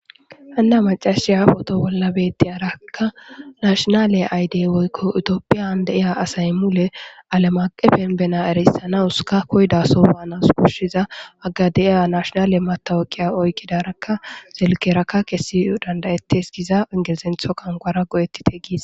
Hana mac'asiya potto bollan btiyarakka nashinalle eyide woyikko tophphiyan de'za asay mulle allem aqen banna erissanas koyida sohuwa banas koshshizza hagga de'eyagga nashinalle meththaweqiya oyikidarakka silkiyara kesiya danida'ates gizza ingilizeththo quwanquwara danida'etes.